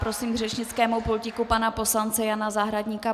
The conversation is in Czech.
Prosím k řečnickému pultíku pana poslance Jana Zahradníka.